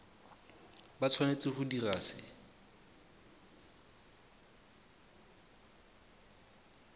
ba tshwanetse go dira se